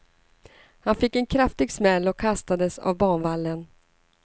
Han fick en kraftig smäll och kastades av banvallen.